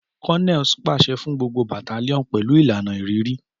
Colonels paṣẹ fun gbogbo battalions pẹlu ilana ĭrìrĭ.